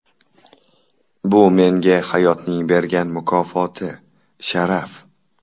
Bu menga hayotning bergan mukofoti, sharaf.